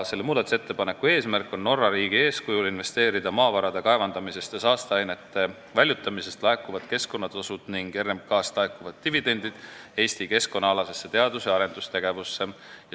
Selle eesmärk on Norra riigi eeskujul investeerida maavarade kaevandamisest ja saasteainete väljutamisest laekuvad keskkonnatasud ning RMK-st laekuvad dividendid Eesti keskkonnaalasesse teadus- ja arendustegevusse.